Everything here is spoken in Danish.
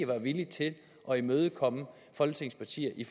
var villige til at imødekomme folketingets partier i